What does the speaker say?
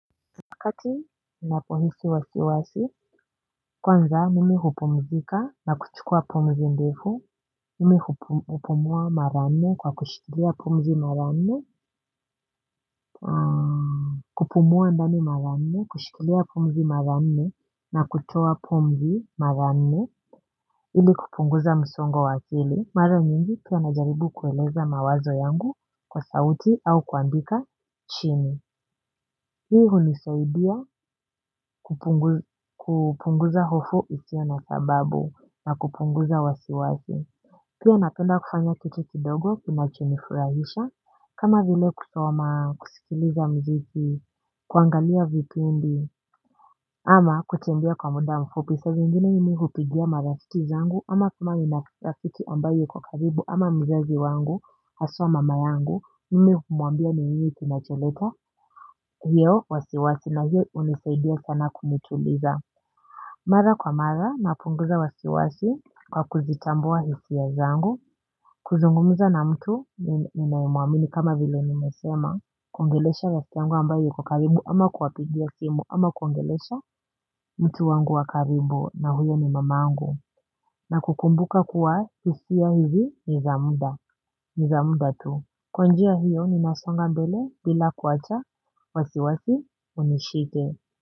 Wakati napohisi wasiwasi, kwanza mimi hupumzika na kuchukua pumzi ndefu. Mimi hupumua mara nne kwa kushikilia pumzi mara nne kupumua ndani maranne kushikilia pomzi maranne na kutoa pumzi mara nne ili kupunguza msongo wa akili. Mara nyingi pia najaribu kueleza mawazo yangu kwa sauti au kuandika chini. Hii hunisaidia kupunguza hofu isiyo na sababu na kupunguza wasiwasi. Pia napenda kufanya kutu kidogo kinachunifurahisha, kama vile kusoma, kusikiliza muziki, kuangalia vipindi ama kutembea kwa muda mfupi. Na saa zingine nimi hupigia marafiki zangu ama kuna rafiki ambaye yuko karibu ama mzazi wangu haswa mama yangu mimi humuambia ni nini kinacholeta hiyo wasiwasi na hiyo hunisaidia sana kunituliza mara kwa mara napunguza wasiwasi kwa kuzitambua hisia ya zangu kuzungumuza na mtu ninayemuamini kama vile nimesema kuongelesha rafiki yangu ambaye yuko karibu ama kuwapigia simu ama kuongelesha mtu wangu wakaribu na huyo ni mamangu na kukumbuka kuwa hisia hizi ni za muda, ni za muda tu. Kwa njia hiyo ninasonga mbele bila kuacha wasiwasi unishike.